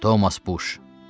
Thomas Poş.